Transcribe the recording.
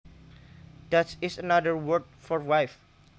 Dutch is another word for wife